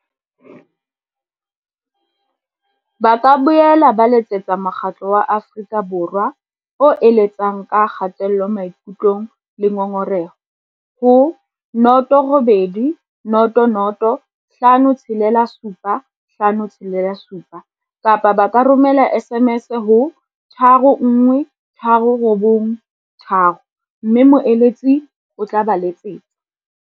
Ba ka boela ba letsetsa Mokgatlo wa Afrika Borwa o eletsang ka Kgatello Maikutlong le Ngongoreho, ho 0800 567 567 kapa ba romela SMS ho 31393 mme moeletsi o tla ba letsetsa.